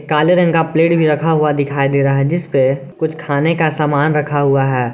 काले रंग का प्लेट भी रखा हुआ दिखाई दे रहा है जिसपे कुछ खाने का सामान रखा हुआ है।